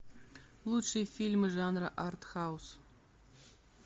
лучшие фильмы жанра артхаус